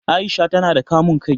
Aisha ta na da kamun kai